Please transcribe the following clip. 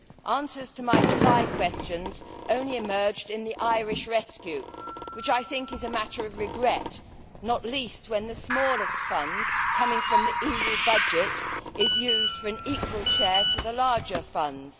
Answers to my July questions only emerged in the Irish rescue, which I think is a matter of regret, not least when the smallest fund, coming from the EU budget, is used for an equal share to the larger funds.